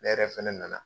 Ne yɛrɛ fɛnɛ nana